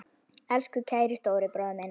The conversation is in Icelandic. Elsku kæri stóri bróðir minn.